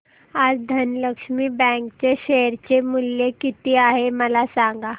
आज धनलक्ष्मी बँक चे शेअर चे मूल्य किती आहे मला सांगा